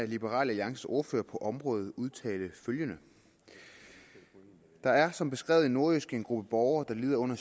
af liberal alliances ordfører på området udtale følgende der er som beskrevet i nordjyske en gruppe borgere der lider under